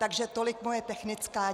Takže tolik moje technická.